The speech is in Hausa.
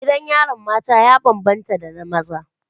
Gidan yarin mata ya bambanta da na maza.